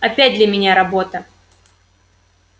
опять для меня работа